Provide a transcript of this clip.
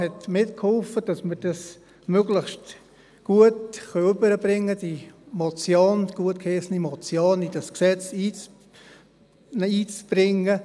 Sie hat mitgeholfen, dass wir dies möglichst gut hinüberbringen können, um die gutgeheissene Motion in das Gesetz einzubringen.